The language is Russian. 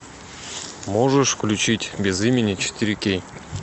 можешь включить без имени четыре кей